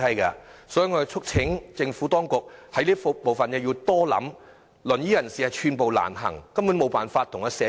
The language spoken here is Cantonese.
我們促請政府當局考慮，使用輪椅人士寸步難行，根本無法融入社區。